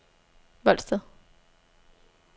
Voldsted